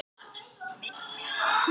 laugardögunum